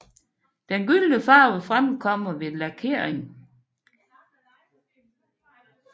Den gyldne farve fremkommer ved lakering